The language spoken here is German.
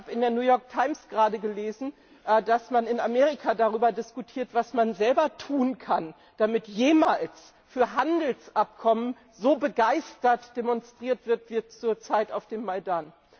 Ich habe gerade in der gelesen, dass man in Amerika darüber diskutiert, was man selber tun kann, damit jemals für Handelsabkommen so begeistert demonstriert wird, wie zur Zeit auf dem Maidan.